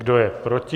Kdo je proti?